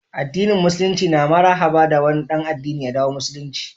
addinin musululinci na marhaba da wani dan addinin ya dawo musulunci